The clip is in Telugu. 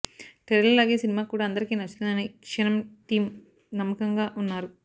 ట్రైలర్ లాగే సినిమా కూడా అందరికి నచ్చుతుందని క్షణం టీం నమ్మకంగా ఉన్నారు